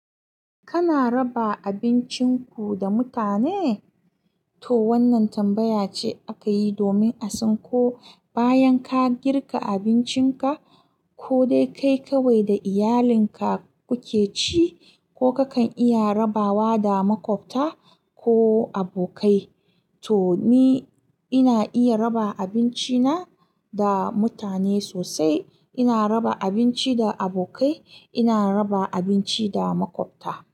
Kana raba abincin ku da mutane? To wannan tambaya ce aka yi domin a san ko bayan ka girka abincinka ko dai kai kawai da iyalinka kuke ci, ko kakan iya rabawa da maƙwabta ko abokai. To ni ina iya raba abinci na da mutane sosai. Ina raba abinci da abokai, ina raba abinci da maƙwabta.